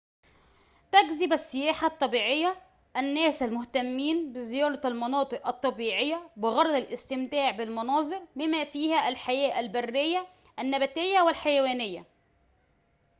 تجذب السياحة الطبيعيّة الناس المهتمّين بزيارة المناطق الطبيعيّة بغرض الاستمتاع بالمناظر بما فيها الحياة البريّة النباتيّة والحيوانيّة